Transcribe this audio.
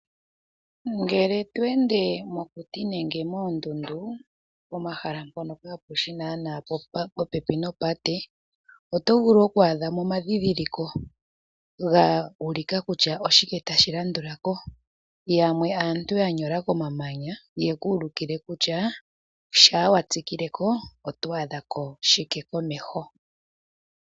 Ngelw to ende mokuti nenge moondundu nenge pomahala mpono kapeahi naana popepi nopate otovulu oku adhamo omadhidholiko ga ulika kutya oshike tashi landulako. Yamwe aantu ya nyola komamanya ye ku ulikile kutya shampa wa tsikile komeho oto adhako shike.